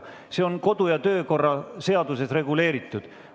See on kodu- ja töökorra seaduses reguleeritud.